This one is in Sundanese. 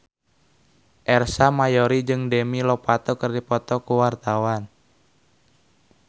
Ersa Mayori jeung Demi Lovato keur dipoto ku wartawan